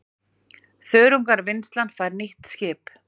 Þörungavinnslan fær nýtt skip